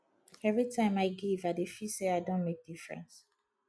every time i give i dey feel say i don make difference